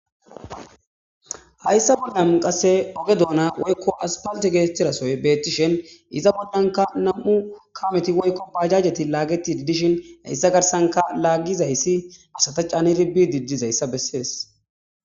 Hayssa balam qasse oge doona woykko aspalte geettirasoy beettishen iza boxdhanka nam'u kameti woykko bajajeti laagetid dishin hayssa garsanka laaggizayssi asata caaniribbi didizayssa bessees.